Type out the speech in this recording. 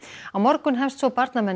á morgun hefst svo